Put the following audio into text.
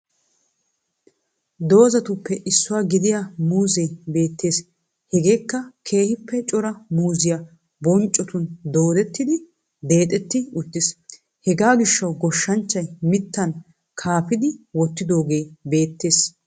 Doozatuppe issuwaa gidiyaa muuzzee beettees. Hegeekka keehippe cora muuzziyaa bonccotun doodettidi deexetti uttis. Hegaa gishawu goshanchay mittaan kaafidi wotidoogee beettees.